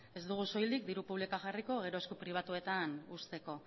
ez dugu soilik diru publikoa jarriko gero esku pribatuetan uzteko